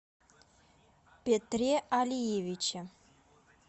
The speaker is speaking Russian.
петре алиевиче